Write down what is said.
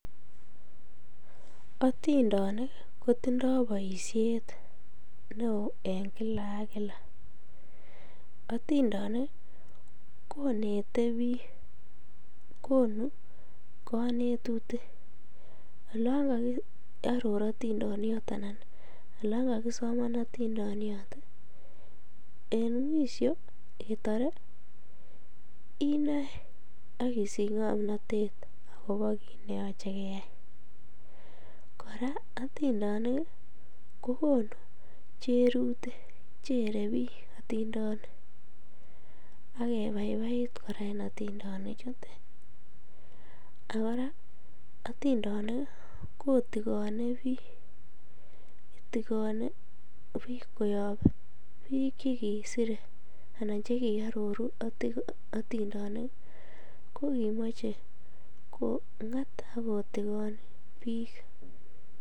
Otindonik kotindo boishet neoo en kila ak kila, otindonik konte biik, konuu konetutik, oloon kokioror tindoniot alan oloon kakisoman atindoniot en mwisho ketore inoe ak isich ngomnotet akobo kiit neyoche keyai, kora atindenik kokonu cherutik, chere biik atindonik ak kebaibait kora en otindonichutet, ak kora otindonik kotikone biik, itikone biik koyob biik chekisire anan chekiororu otindonik kokimoche kong'at ak kotikon biik.